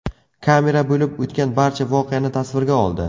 Kamera bo‘lib o‘tgan barcha voqeani tasvirga oldi.